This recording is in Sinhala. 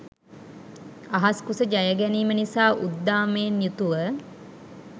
අහස් කුස ජයගැනීම නිසා උද්දාමයෙන් යුතුව